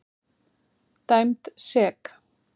Dæmd sek.